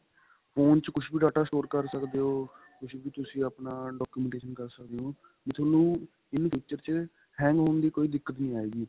phone ਚ ਕੁੱਝ ਵੀ data store ਕਰ ਸਕਦੇ ਓ ਕੁੱਝ ਵੀ ਤੁਸੀਂ ਆਪਣਾ documentation ਕਰ ਸਕਦੇ ਓ ਵੀ ਤੁਹਾਨੂੰ in future ਚ hang ਹੋਣ ਦੀ ਕੋਈ ਦਿਕਤ ਨਹੀਂ ਆਏਗੀ